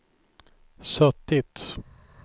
suttit